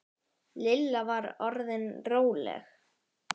Lilla var orðin róleg.